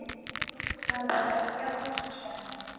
Þar var bæði fjárhús og skemma.